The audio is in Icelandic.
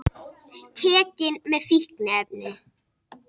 Tekinn með fíkniefni